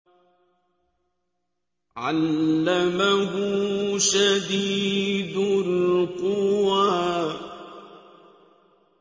عَلَّمَهُ شَدِيدُ الْقُوَىٰ